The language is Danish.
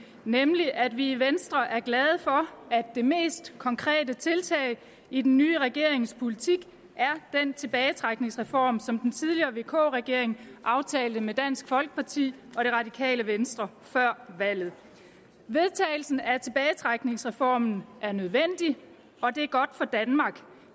nemlig at vi i venstre er glade for at det mest konkrete tiltag i den nye regerings politik er den tilbagetrækningsreform som den tidligere vk regering aftalte med dansk folkeparti og det radikale venstre før valget vedtagelsen af tilbagetrækningsreformen er nødvendig og det er godt for danmark